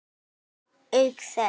Auk þess.